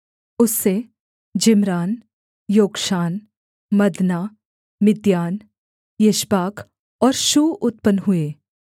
उससे Zimran Jokshan Medan Midian Ishbak और Shuah उत्पन्न हुए